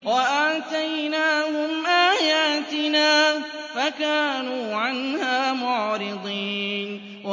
وَآتَيْنَاهُمْ آيَاتِنَا فَكَانُوا عَنْهَا مُعْرِضِينَ